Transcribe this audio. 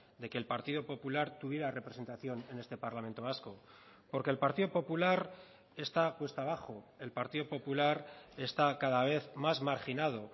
de que el partido popular tuviera representación en este parlamento vasco porque el partido popular está cuesta abajo el partido popular está cada vez más marginado